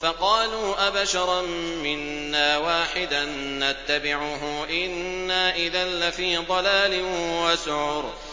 فَقَالُوا أَبَشَرًا مِّنَّا وَاحِدًا نَّتَّبِعُهُ إِنَّا إِذًا لَّفِي ضَلَالٍ وَسُعُرٍ